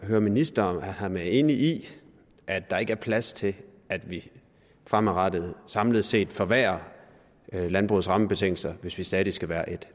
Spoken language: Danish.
høre ministeren om han er enig i at der ikke er plads til at vi fremadrettet samlet set forværrer landbrugets rammebetingelser hvis vi stadig skal være et